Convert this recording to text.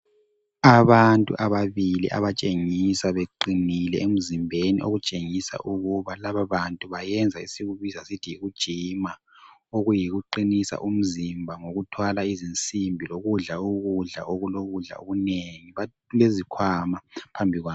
Abantu ababili abatshengisa beqinile emzimbeni okutshengisa ukuba lababantu bayenza esikubiza sithi yikujima, okuyikuqinisa umzimba ngokuthwala izinsimbi lokudla ukudla okulokudla okunengi. Kulezikhwama phambi kwabo.